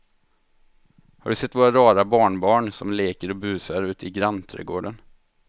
Har du sett våra rara barnbarn som leker och busar ute i grannträdgården!